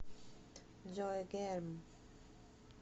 джой герм